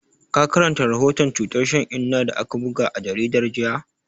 Ka karanta rahoton cutar shan inna da aka buga a jaridar jiya?